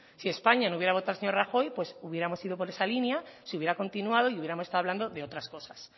si españa no hubiera votado al señor rajoy pues hubiéramos ido por esa línea se hubiera continuado y hubiéramos estado hablando de otras cosas